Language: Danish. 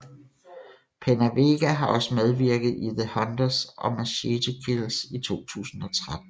PenaVega har også medvirket i The Hunters og Machete Kills i 2013